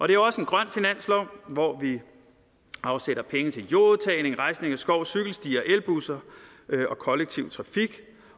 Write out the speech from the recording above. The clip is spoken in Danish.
det er også en grøn finanslov hvor vi afsætter penge til jordudtagning rejsning af skov cykelstier elbusser og kollektiv trafik